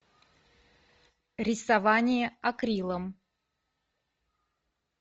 рисование акрилом